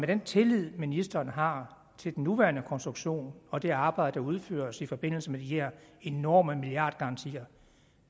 den tillid ministeren har til den nuværende konstruktion og det arbejde der udføres i forbindelse med de enorme milliardgarantier